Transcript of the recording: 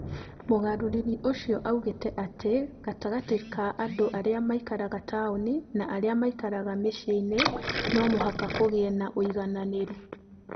Mũgarũri ũcio oigire atĩ gatagatĩ ka andũ arĩa maikaraga taũni na arĩa maikaraga mĩciĩ-inĩ, no mũhaka kũgĩe na ũigananĩru.